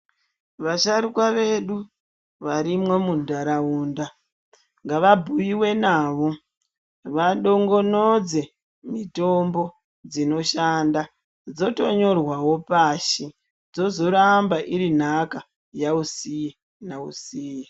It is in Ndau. Vasharuka vedu varimwo muntaraunda ngavabhuive navo vadongonodze mitombo dzinoshanda. Dzotonyorwavo pashi dzizoramba iri nhaka yausiye nausiye.